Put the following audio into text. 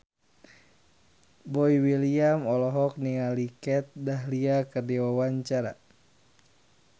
Boy William olohok ningali Kat Dahlia keur diwawancara